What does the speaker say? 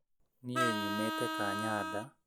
Niĩ nyumite kanyada